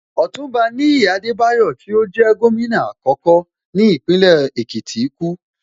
Ọ̀túnba Níyì Adebayo tí ó jẹ́ Gómìnà àkọ́kọ́ ní Ìpínlẹ̀ Èkìtì kú